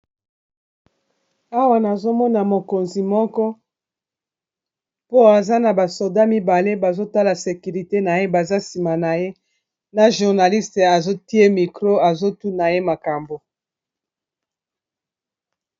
Awa nazomona mokonzi moko po aza na ba soda mibale bazotala sekirite na ye baza nsima na ye na journaliste azotie mikro azotuna ye makambo